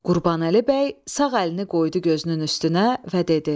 Qurbanəli bəy sağ əlini qoydu gözünün üstünə və dedi: